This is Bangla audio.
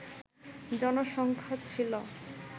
জনসংখ্যা ছিল